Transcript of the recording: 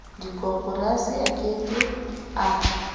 dikoporasi a ke ke a